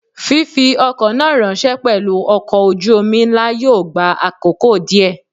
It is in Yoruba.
Fífi ọkọ̀ náà ráńṣẹ́ pelu ọkọ̀ ojú omi ńlá yóò gba àkókò díè.